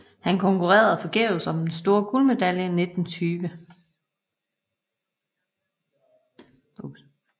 Han konkurrerede forgæves om den store guldmedalje 1912